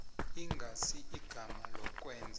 ingasi igama lokwenza